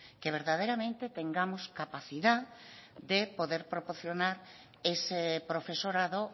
que verdaderamente tengamos capacidad de poder proporcionar ese profesorado